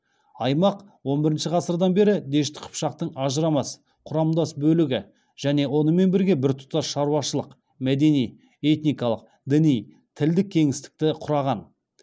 аймақ он бірінші ғасырдан бері дешті қыпшақтың ажырамас құрамдас бөлігі және онымен бірге біртұтас шаруашылық мәдени этникалық діни тілдік кеңістікті құраған